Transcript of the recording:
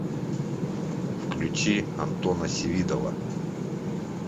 включи антона севидова